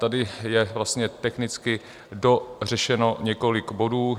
Tady je vlastně technicky dořešeno několik bodů.